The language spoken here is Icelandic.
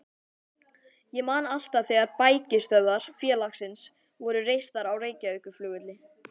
Ég man alltaf þegar bækistöðvar félagsins voru reistar á Reykjavíkurflugvelli.